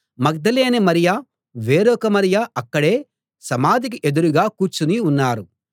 మగ్దలేనే మరియ వేరొక మరియ అక్కడే సమాధికి ఎదురుగా కూర్చుని ఉన్నారు